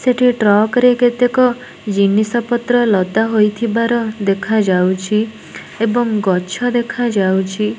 ସେଠି ଟ୍ରକ୍ ରେ କେତେକ ଜିନିଷ ପତ୍ର ଲଦା ହୋଇଥିବାର ଦେଖାଯାଉଚି ଏବଂ ଗଛ ଦେଖାଯାଉଚି।